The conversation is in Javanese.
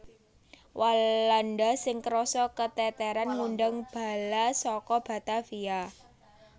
Walanda sing krasa keteteran ngundang bala saka Batavia